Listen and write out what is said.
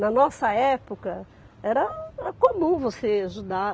Na nossa época, era era comum você ajudar.